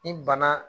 Ni bana